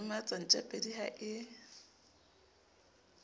o lematsa ntjapedi ha e